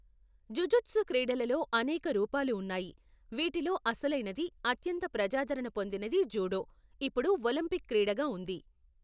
Jujutsu క్రీడలలో అనేక రూపాలు ఉన్నాయి, వీటిలో అసలైనది అత్యంత ప్రజాదరణ పొందినది జూడో, ఇప్పుడు ఒలింపిక్ క్రీడగా ఉంది.